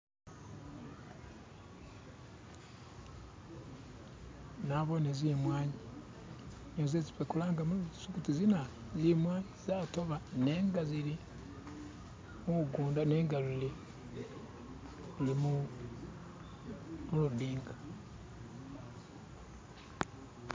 Nabone zimwanyi niyo zesi ffe kulanga mulugisu kuti zinanu zimwanyi zatoba nenga zili mumugunda zili kulujinji